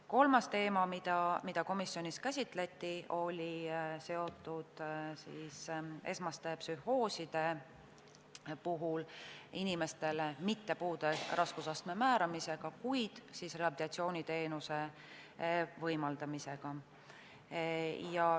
Kolmas teema, mida komisjonis käsitleti, oli seotud esmaste psühhooside puhul inimestel mitte puude raskusastme määramisega, vaid neile rehabilitatsiooniteenuse võimaldamisega.